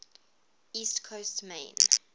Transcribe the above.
east coast maine